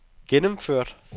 gennemført